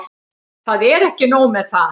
Það er ekki nóg með það.